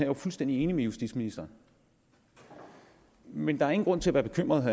jo fuldstændig enig med justitsministeren men der er ingen grund til at være bekymret